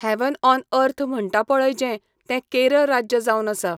Haven't on earth म्हणटा पळय जें, तें केरळ राज्य जावन आसा.